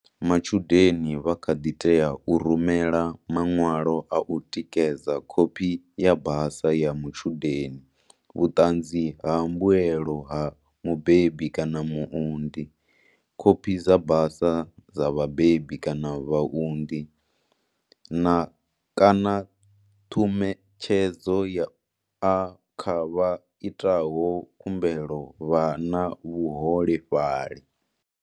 Matshudeni vha kha ḓi tea u rumela maṅwalo a u tikedza Khophi ya basa ya mutshudeni, vhuṱanzi ha mbuelo ha mubebi kana muunḓi, khophi dza basa dza vhabebi kana vhaunḓi, na, kanaṰhumetshedzo ya A kha vha itaho khumbelo vha na vhuholefhali.